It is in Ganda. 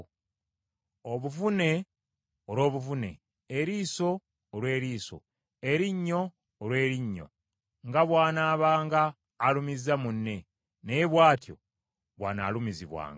obuvune olw’obuvune, eriiso olw’eriiso, erinnyo olw’erinnyo; nga bw’anaabanga alumizza munne, naye bw’atyo bw’anaalumizibwanga.